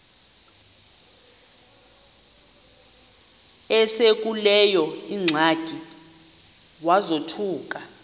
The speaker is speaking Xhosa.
esekuleyo ingxaki wazothuka